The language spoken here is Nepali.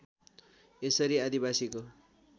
यसरी आदिवासीको